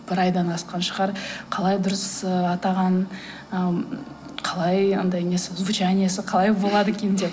бір айдан асқан шығар қалай дұрыс ы атаған ы м қалай анадай несі звучаниесі қалай болады екен деп